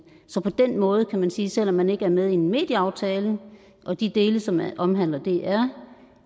på den måde kan man sige selv om man ikke er med i en medieaftale og de dele som omhandler dr